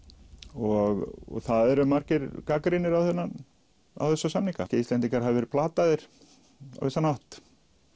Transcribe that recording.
og það eru margir gagnrýnir á þessa samninga að Íslendingar hafi verið plataðir á vissan hátt